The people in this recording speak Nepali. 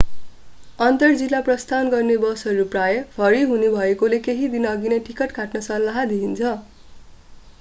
अन्तर-जिल्ला प्रस्थान गर्ने बसहरू प्राय भरि हुने भएकाले केही दिनअघि नै टिकट काट्न सल्लाह दिइन्छ